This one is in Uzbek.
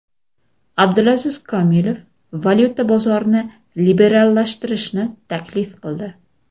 Abdulaziz Komilov valyuta bozorini liberallashtirishni taklif qildi.